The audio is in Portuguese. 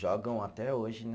Jogam até hoje, né?